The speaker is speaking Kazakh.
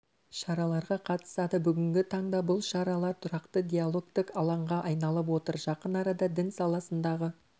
шараларға қатысады бүгінгі таңда бұл шаралар тұрақты диалогтық алаңға айналып отыр жақын арада дін саласындағы